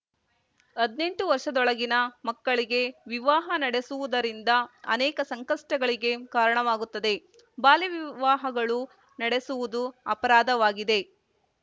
ಹದ್ನೆಂಟು ವರ್ಷದೊಳಗಿನ ಮಕ್ಕಳಿಗೆ ವಿವಾಹ ನಡೆಸುವದರಿಂದ ಅನೇಕ ಸಂಕಷ್ಟಗಳಿಗೆ ಕಾರಣವಾಗುತ್ತದೆ ಬಾಲ್ಯವಿವಾಹಗಳು ನಡೆಸುವುದು ಅಪರಾಧವಾಗಿದೆ